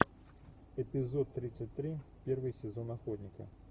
эпизод тридцать три первый сезон охотника